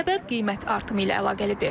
Səbəb qiymət artımı ilə əlaqəlidir.